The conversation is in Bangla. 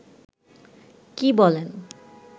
কী বলেন